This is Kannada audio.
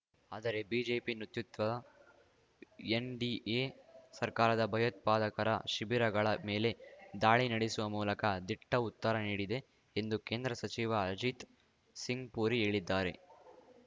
ಆದರೆ ಬಿಜೆಪಿ ನೇತೃತ್ವದ ಎನ್‌ಡಿಎ ಸರ್ಕಾರದ ಭಯೋತ್ಪಾದಕರ ಶಿಬಿರಗಳ ಮೇಲೆ ದಾಳಿ ನಡೆಸುವ ಮೂಲಕ ದಿಟ್ಟ ಉತ್ತರ ನೀಡಿದೆ ಎಂದು ಕೇಂದ್ರ ಸಚಿವ ಅರ್ಜಿತ್ ಸಿಂಗ್‌ಪುರಿ ಹೇಳಿದ್ದಾರೆ